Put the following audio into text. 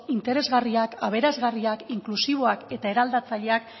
interesgarriak aberasgarriak inklusiboak eta eraldatzaileak